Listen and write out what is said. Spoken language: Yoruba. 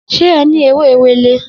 Se e ni ewe ewele?